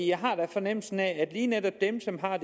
jeg har da fornemmelsen af at lige netop dem som har